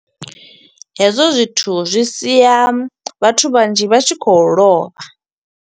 Hezwo zwithu zwi sia vhathu vhanzhi vha tshi khou lovha.